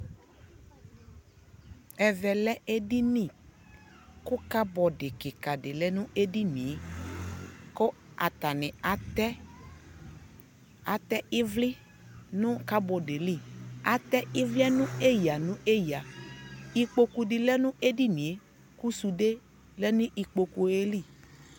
ɛvɛ lɛ ɛdini kʋ cupboard kika di lɛnʋ ɛdiniɛ kʋ atani atɛ, atɛ ivli nʋ cupboardiɛ li, atɛ ivliɛ nʋ ɛya ɛya, ikpɔkʋ di lɛnʋ ɛdiniɛ kʋ sʋdɛ lɛnʋ ikpɔkʋɛ li